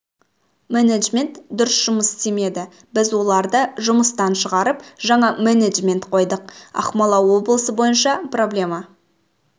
менеджмент дұрыс жұмыс істемеді біз оларды жұмыстан шығарып жаңа менеджмент қойдық ақмола облысы бойынша проблема